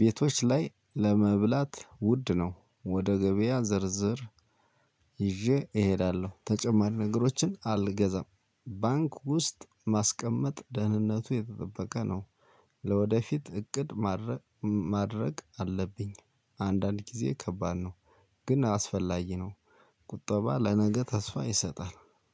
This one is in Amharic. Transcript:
ቤቶች ላይ ለመብላት ውድ ነው። ወደ ገበያ ዝርዝር ይዤ እሄዳለሁ ተጨማሪ ነገሮችን አልገዛም። ባንክ ውስጥ ማስቀመጥ ደህንነቱ የተጠበቀ ነው። ለወደፊት እቅድ ማቀድ አለብኝ። አንዳንድ ጊዜ ከባድ ነው። ግን አስፈላጊ ነው። ቁጠባ ለነገ ተስፋ ይሰጣል።